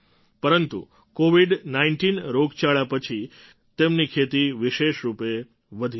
પરંતુ કૉવિડ૧૯ રોગચાળા પછી તેમની ખેતી વિશેષ રૂપે વધી રહી છે